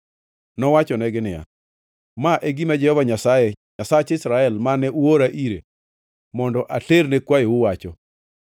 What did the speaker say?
Nowachonegi niya, “Ma e gima Jehova Nyasaye, Nyasach Israel, mane uora ire mondo aterne kwayou, wacho: